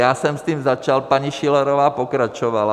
Já jsem s tím začal, paní Schillerová pokračovala.